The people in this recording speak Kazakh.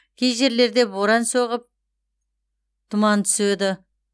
кей жерлерде боран соғып тұман түседі